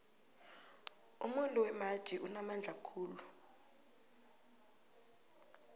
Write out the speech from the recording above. umuntu wembaji unamandla khulu